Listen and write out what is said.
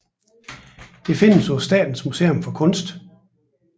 Det findes på Statens Museum for Kunst